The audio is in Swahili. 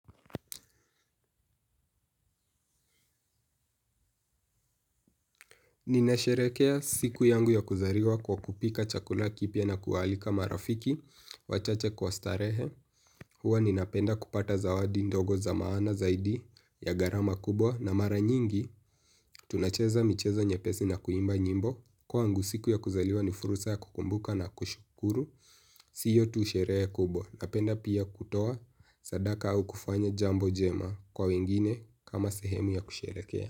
Ninasherehekea siku yangu ya kuzaliwa kwa kupika chakula kipya na kuwaalika marafiki wachache kwa starehe. Huwa ninapenda kupata zawadi ndogo za maana zaidi ya gharama kubwa na mara nyingi tunacheza michezo nyepesi na kuimba nyimbo. Kwangu siku ya kuzaliwa ni fursa ya kukumbuka na kushukuru sio tu sherehe kubwa. Napenda pia kutoa sadaka au kufanya jambo jema kwa wengine kama sehemu ya kusherehekea.